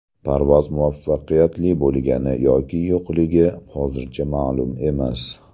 Parvoz muvaffaqiyatli bo‘lgani yoki yo‘qligi hozircha ma’lum emas.